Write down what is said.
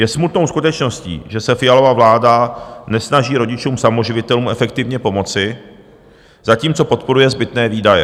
Je smutnou skutečností, že se Fialova vláda nesnaží rodičům samoživitelům efektivně pomoci, zatímco podporuje zbytné výdaje.